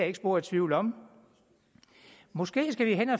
ikke spor i tvivl om måske skal vi